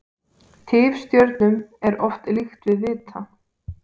Tifstjörnum er oft líkt við vita.